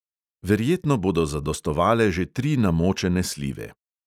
Verjetno bodo zadostovale že tri namočene slive.